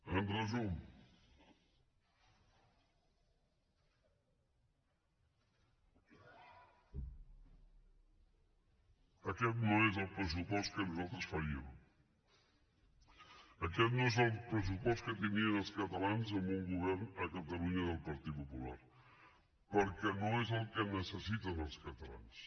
en resum aquest no és el pressupost que nosaltres faríem aquest no és el pressupost que tindrien els catalans amb un govern a catalunya del partit popular perquè no és el que necessiten els catalans